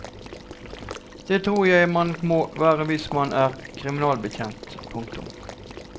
Det tror jeg man må være hvis man er kriminalbetjent. punktum